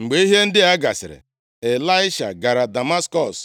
Mgbe ihe ndị a gasịrị Ịlaisha gara Damaskọs,